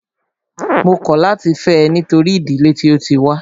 Mó kọ̀ láti fẹ́ ẹ nítorí ìdílé tí o tí wá.